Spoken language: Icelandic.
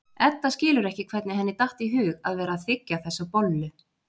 Edda skilur ekki hvernig henni datt í hug að vera að þiggja þessa bollu.